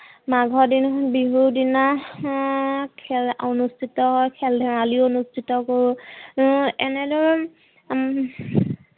মাঘৰ বিহুৰ দিনা হম খেল অনুস্থিত খেল ধেমালি অনুস্থিত কৰো হম এনেধৰন হম